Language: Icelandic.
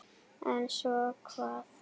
En svo hvað?